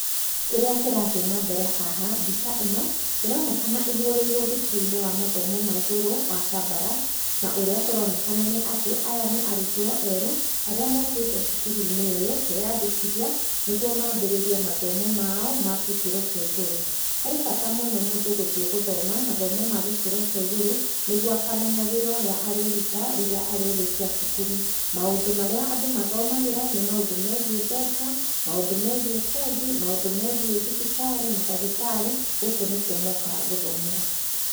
Kĩria kĩrathiĩ na mbere haha mbica ĩno ĩronekana ĩhũrĩirwe thukuruinĩ wa mathomo ma igũrũ wa Kabarak na ũrĩa kũronekana nĩ atĩ aya nĩ arutwo erũ arĩa mokĩte cukuruinĩ ũyũ kwĩandikithia nĩguo mabĩrĩrie mathomo mao ma gĩkĩro kĩa igũrũ. Harĩ bata mũno mũndũ gũthiĩ gũthoma mathomo ma gĩkĩro kĩa igũrũ nĩguo akamenya wĩra ũrĩa arĩruta rĩrĩa arĩrĩkia cukuru. Maũndũ marĩa andũ mathomagĩra nĩ maũndũ megiĩ mbeca ,maũndũ megiĩ bengi, maũndũ megiĩ thibitarĩ ,mandagĩtarĩ, gũkũ nĩkuo mokaga gũthomera.